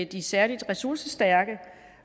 de særligt ressourcestærke